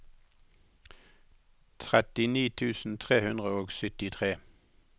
trettini tusen tre hundre og syttitre